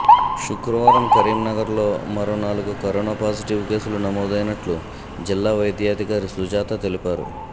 శుక్రవారం కరీంనగర్లో మరో నాలుగు కరోనా పాజిటివ్ కేసులు నమోదైనట్లు జిల్లా వైద్యాధికారి సుజాత తెలిపారు